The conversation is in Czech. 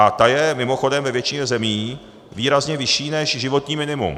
A ta je mimochodem ve většině zemí výrazně vyšší než životní minimum.